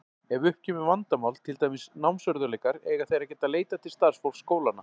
Ef upp kemur vandamál, til dæmis námsörðugleikar, eiga þeir að geta leitað til starfsfólks skólanna.